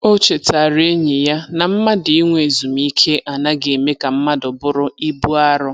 O chetaara enyi ya na mmadụ inwe ezumike anaghị eme ka mmadụ bụrụ ibu arọ.